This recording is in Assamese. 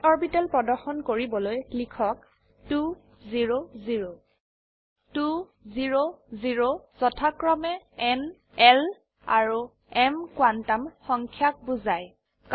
s অৰবিটেল প্ৰদৰ্শন কৰিবলৈ লিখক 2 0 0 2 0 0 যথাক্ৰমে ন l আৰু m কোয়ান্টাম সংখ্যাক বোঝায়